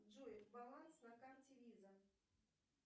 джой баланс на карте виза